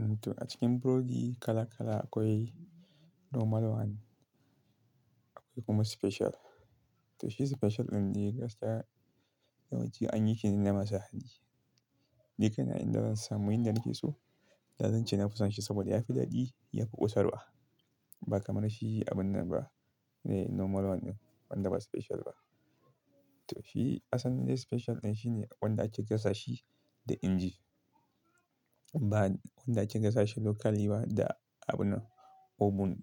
To a cikin burodi kala kala akwai normal one akwai kuma special. To shi special ɗin dai gaskiya yawanci anyi ke nan masa hali. Ni kaina inda zan samu inda nake so, da zan ce na fi son shi saboda ya fi daɗi, ya fi ƙosarwa ba kamar shi abun nan ba ne normal one ɗin wanda ba special ba. To shi asalin special ɗin shine wanda ake gasa shi da inji. Ba wanda ake gasa shi locally ba da abun oven,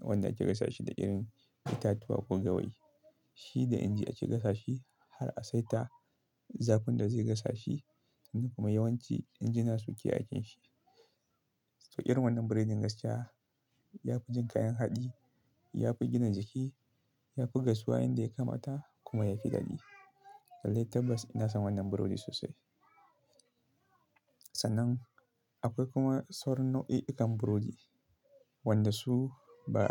wanda ake gasa shi da irin itatuwa ko gawayi. Shi da inji ake gasa shi har a saita zafin da zai gasa shi kuma yawanci injina suke aikin shi. To irin wannan burodi gaskiya ya fi jin kayan haɗi, ya fi gina jiki, ya fi gasuwa inda ya kamata kuma ya fi daɗi. Lallai tabbas ina son wannan burodi sosai. Sannan akwai kuma sauran nau'i-ikan burodi wanda su ba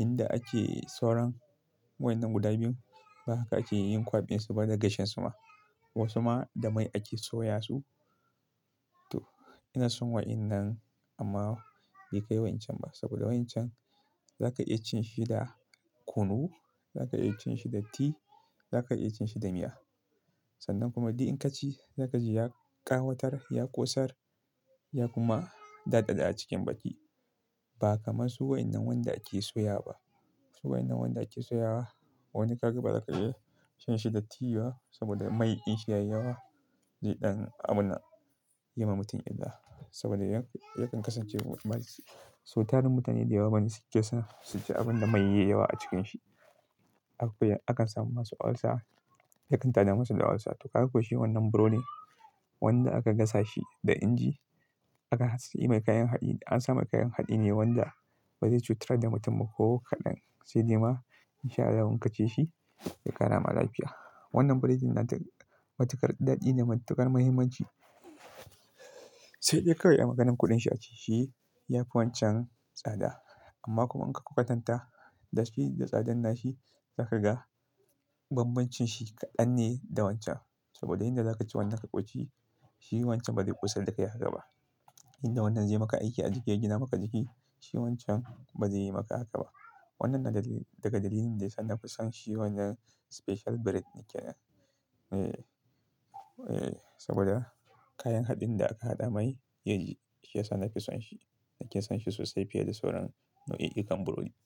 inda ake sauran waɗannan guda biyun ba haka ake yin kwaɓin su ba da gashin su ma. Wasu ma da mai ake soya su. To ina son waɗannan amma bai kai wancan ba saboda wancan zaka iya cin shi da kunu, zaka iya cin shi da tea, zaka iya cin shi da miya. Sannan kuma di'in ka ci zaka ji ya ƙawatar, ya ƙosar ya kuma daɗaɗa a cikin baki. Ba kamar su wannan wanda ake soya ba. Su wai'nan wanda ake soyawa wani ka ga ba za ka iya shan shi da tea ba saboda mai din shi yayi yawa. Dai ɗan abuna ya ma mutum illa saboda yakan kasance mummalci. So tarin mutane da yawa bani suke son suji abun da mai yayi yawa a cikin shi. Akwai, akan samu masu olsa, yakan tada masu da olsa. To ka kwashe wannan burodi wanda aka gasa shi da inji aka sanya mai kayan haɗi, an sa mai kayan haɗi ne wanda ba zai cutar da mutum ba ko kaɗan. Sai dai ma in sha Allah in ka ci shi zai ƙarama lafiya. Wannan burodin na matukar daɗi da matukar muhimmanci. Sai dai kawai maganar kuɗin shi a ciki shi yafi wancan tsada. Amma kuma in ka kwatanta da shi da tsadan nashi zaka ga bambancin shi kaɗan ne da wancan. Saboda inda zaka ci wannan ka ƙoshi shi wancan ba zai ƙosar da kai haka ba. Inda wannan zai maka aiki a jiki ya gina maka jiki shi wancan ba zai yi maka haka ba. Wannan na dalili daga dalilin da yana fi son shi wannan special bread ne ke. Eh, eh saboda kayan haɗin da aka haɗa mai yake sa nake son shi. Nake son shi sosai fiye da sauran nau'i-ikan burodi.